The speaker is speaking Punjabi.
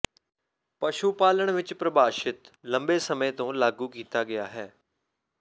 ਪਸ਼ੂ ਪਾਲਣ ਵਿਚ ਪ੍ਰਭਾਸ਼ਿਤ ਲੰਬੇ ਸਮੇਂ ਤੋਂ ਲਾਗੂ ਕੀਤਾ ਗਿਆ ਹੈ